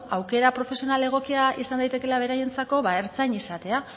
ba beno aukera profesional egokia izan daitekeelako ba ertzain izatea